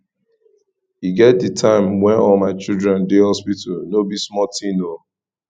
e get di time wen all my children dey hospital no be small tin o